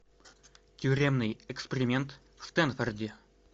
тюремный эксперимент в стэнфорде